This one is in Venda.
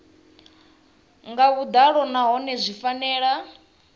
nga vhuḓalo nahone zwi fanela